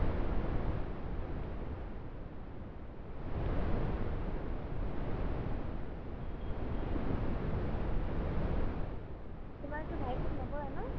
তোমালোকে ভাই ফোট নকৰা ন